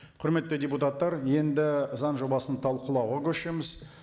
құрметті депутаттар енді заң жобасын талқылауға көшеміз